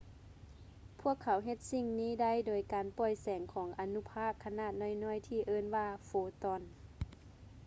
ພວກເຂົາເຮັດສິ່ງນີ້ໄດ້ ໂດຍການປ່ອຍແສງຂອງອະນຸພາກຂະໜາດນ້ອຍໆ ທີ່ເອີ້ນວ່າ ໂຟຕອນ